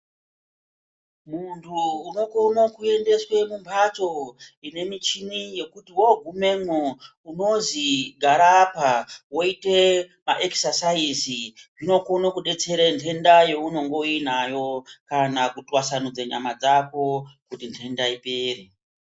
Muntu unokono kuendeswa kumbatso ine michini yekuti wongumwemo unonzwei garaapa woita maekisasaizi zvinokone detsera ndenda yaunenge uinayo kana kutwasamudza nyama dzako kuti ndenda ipere.